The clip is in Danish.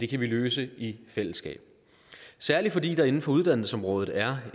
kan vi løse det i fællesskab særlig fordi der inden for uddannelsesområdet er